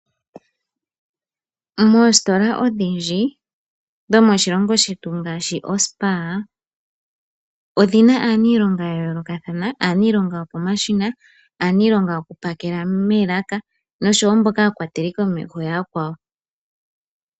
Moositola odhindji dhomoshilongo shetu ngaashi oSpar odhina aaniilonga ya yoolokathana. Aaniilonga yopo mashina, aaniilonga yoku pakela moolaka, nosho wo mboka aakwateli komeho ya yakwawo.